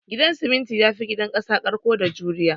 Gidan siminti yafi gidan kasa karko da juriya